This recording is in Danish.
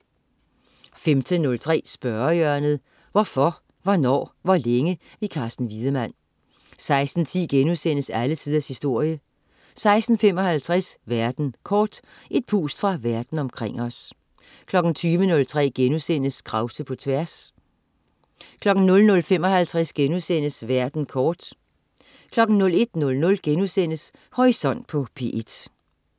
15.03 Spørgehjørnet. Hvorfor, hvornår, hvor længe? Carsten Wiedemann 16.10 Alle tiders historie* 16.55 Verden kort. Et pust fra verden omkring os 20.03 Krause på tværs* 00.55 Verden kort* 01.00 Horisont på P1*